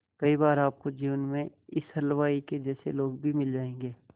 कई बार आपको जीवन में इस हलवाई के जैसे लोग भी मिल जाएंगे